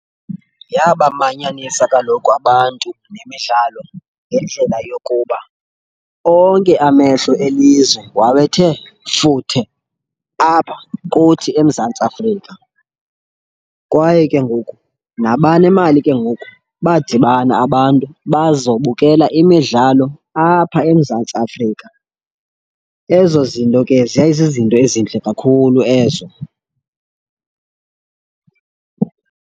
Yabamanyanisa kaloku abantu le midlalo ngendlela yokuba onke amehlo elizwe wawethe futhe apha kuthi eMzantsi Afrika. Kwaye ke ngoku nabanemali ke ngoku, badibana abantu bazobukela imidlalo apha eMzantsi Afrika. Ezo zinto ke zayizizinto ezintle kakhulu ezo.